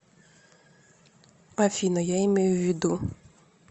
афина я имею в виду